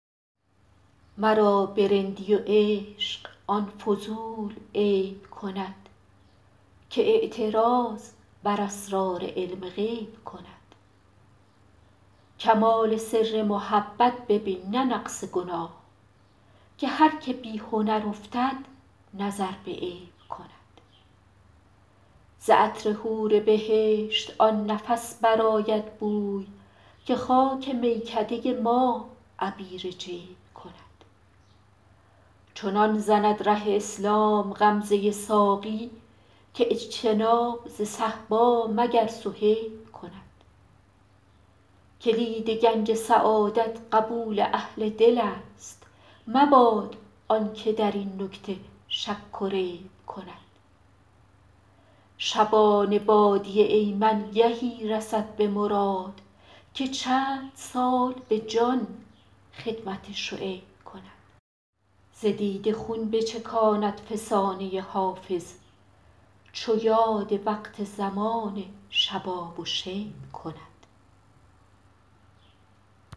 مرا به رندی و عشق آن فضول عیب کند که اعتراض بر اسرار علم غیب کند کمال سر محبت ببین نه نقص گناه که هر که بی هنر افتد نظر به عیب کند ز عطر حور بهشت آن نفس برآید بوی که خاک میکده ما عبیر جیب کند چنان زند ره اسلام غمزه ساقی که اجتناب ز صهبا مگر صهیب کند کلید گنج سعادت قبول اهل دل است مباد آن که در این نکته شک و ریب کند شبان وادی ایمن گهی رسد به مراد که چند سال به جان خدمت شعیب کند ز دیده خون بچکاند فسانه حافظ چو یاد وقت زمان شباب و شیب کند